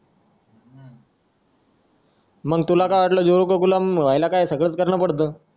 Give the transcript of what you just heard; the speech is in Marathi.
मग तुला काय वाटलं जोरू का गुलाम व्हायला सगळंच करणं पडतं